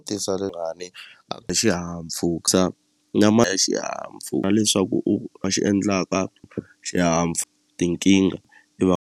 na ma e xihahampfhuka na leswaku u a xi endlaka tinkingha .